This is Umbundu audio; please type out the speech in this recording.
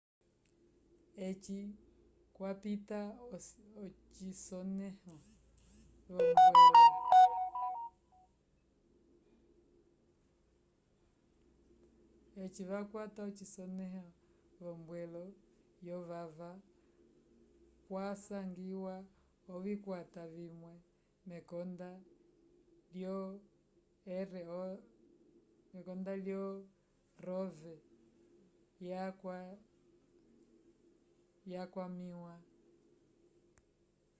eci kwapita ocisonẽho v'ombwelo yovava kwasangiwa ovikwata vimwe mekonda lyo rov yakwamĩwa